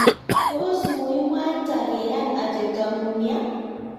tos muimwaita keyan atebto ng'ung' ya?